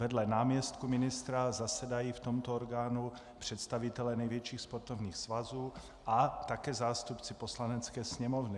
Vedle náměstků ministra zasedají v tomto orgánu představitelé největších sportovních svazů a také zástupci Poslanecké sněmovny.